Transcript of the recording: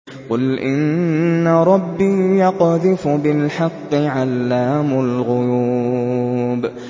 قُلْ إِنَّ رَبِّي يَقْذِفُ بِالْحَقِّ عَلَّامُ الْغُيُوبِ